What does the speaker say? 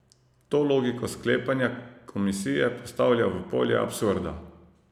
To logiko sklepanja komisije postavlja v polje absurda.